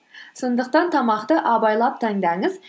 сондықтан тамақты абайлап таңдаңыз